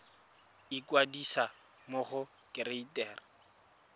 ikwadisa mo go kereite r